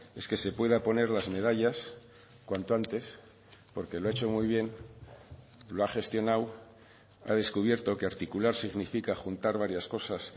es que se pueda poner las medallas cuanto antes porque lo ha hecho muy bien lo ha gestionado ha descubierto que articular significa juntar varias cosas